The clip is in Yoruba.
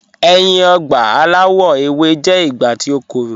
Ẹ̀yin ọ̀gba alawọ̀ ewé jẹ̀ ìgbà tí o kọ́rọ̀.